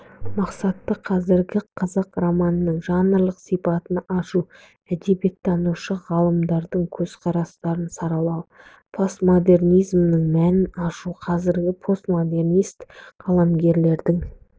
мақсаты қазіргі қазақ романының жанрлық сипатын ашу әдебиеттанушы ғалымдардың көзқарастарын саралау постмодернизмнің мәнін ашу қазіргі постмодернист қаламгерлердің